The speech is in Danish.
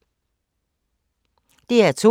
DR2